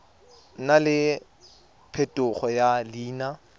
nna le phetogo ya leina